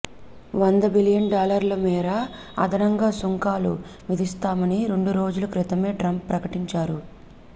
వంద బిలియన్ డాలర్ల మేర అదనంగా సుంకాలు విధిస్తామని రెండు రోజుల క్రితమే ట్రంప్ ప్రకటించారు